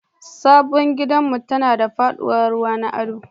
Sabon gidanmu tana da faɗuwar ruwa na ado